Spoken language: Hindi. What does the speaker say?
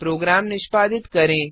प्रोग्राम निष्पादित करें